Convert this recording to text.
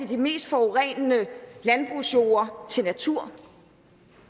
de mest forurenende landbrugsjorde til natur